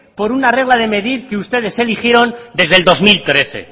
por una regla de medir que ustedes eligieron desde el dos mil trece